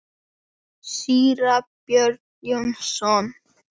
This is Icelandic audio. Síra Björn Jónsson